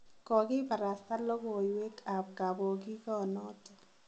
Kongibarasta logowek ab kaponginonoton.